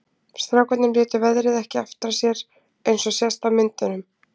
Strákarnir létu veðrið ekki aftra sér eins og sést á myndunum.